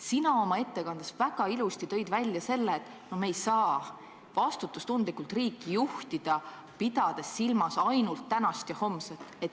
Sina oma ettekandes tõid väga ilusti välja, et me ei saa vastutustundlikult riiki juhtida, pidades silmas ainult tänast ja homset.